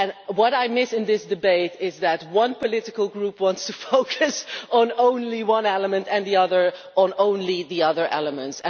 What I miss in this debate is that one political group wants to focus on only one element, and the other on only the other elements.